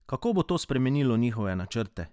Kako bo to spremenilo njihove načrte?